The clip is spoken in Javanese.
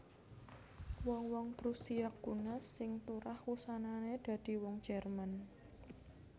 Wong wong Prusia Kuna sing turah wusanané dadi wong Jerman